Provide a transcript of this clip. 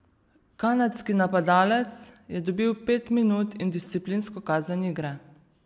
Kanadski napadalec je dobil pet minut in disciplinsko kazen igre.